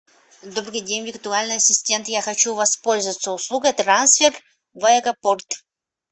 добрый день виртуальный ассистент я хочу воспользоваться услугой трансфер в аэропорт